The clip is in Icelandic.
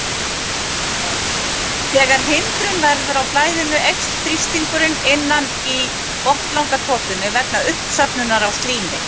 Þegar hindrun verður á flæðinu eykst þrýstingurinn innan í botnlangatotunni vegna uppsöfnunar á slími.